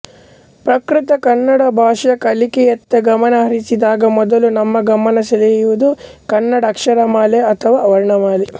ಪ್ರಕೃತ ಕನ್ನಡ ಭಾಷಾ ಕಲಿಕೆಯತ್ತ ಗಮನ ಹರಿಸಿದಾಗ ಮೊದಲು ನಮ್ಮ ಗಮನ ಸೆಳೆಯುವುದು ಕನ್ನಡ ಅಕ್ಷರಮಾಲೆ ಅಥವಾ ವರ್ಣಮಾಲೆ